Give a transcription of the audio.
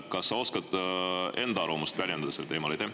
Kas sa oskad enda arvamust väljendada sellel teemal?